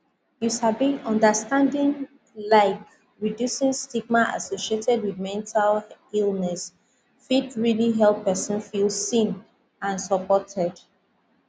you sabi understanding laik reducing stigma associated wit mental illness fit realli help pesin feel seen and supported